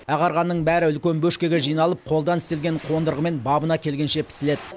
ағарғанның бәрі үлкен бөшкеге жиналып қолдан істелген қондырғымен бабына келгенше пісіледі